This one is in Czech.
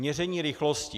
Měření rychlosti.